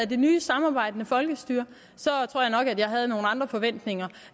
det nye samarbejdende folkestyre så tror jeg nok at jeg havde nogle andre forventninger